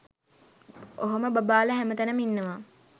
ඔහොම බබාලා හැමතැනම ඉන්නවා